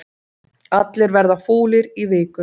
Allir verða fúlir í viku